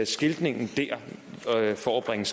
skiltningen dér for at bringe